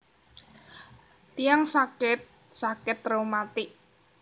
Tiyang sakit sakit reumatik